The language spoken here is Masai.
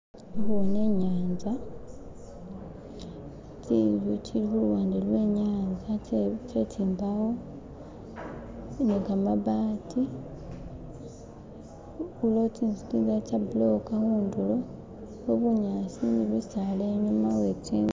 Ndi khubona inyatsa tinstu tsili khuluwande lwenyatsa tse tsimbawo ni kamabaati uliwo tsinzu tsindala tsa bulokha khudulo khuliko bunyasi ni bisaala inyuma wetsinzu